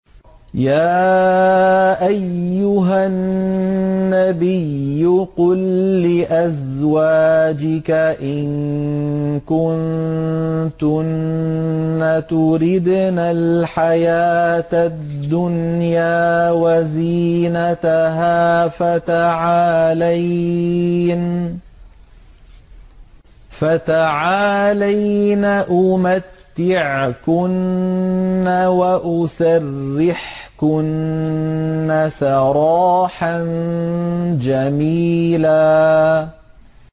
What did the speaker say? يَا أَيُّهَا النَّبِيُّ قُل لِّأَزْوَاجِكَ إِن كُنتُنَّ تُرِدْنَ الْحَيَاةَ الدُّنْيَا وَزِينَتَهَا فَتَعَالَيْنَ أُمَتِّعْكُنَّ وَأُسَرِّحْكُنَّ سَرَاحًا جَمِيلًا